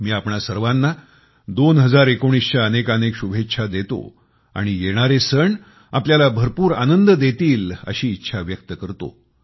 मी आपणा सर्वांना 2019 च्या अनेकानेक शुभेच्छा देतो आणि येणारे सण आपल्याला भरपूर आनंद देतील अशी इच्छा व्यक्त करतो